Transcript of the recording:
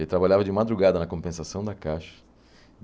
Ele trabalhava de madrugada na compensação da Caixa.